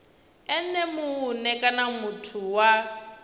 ene mue kana muthu wa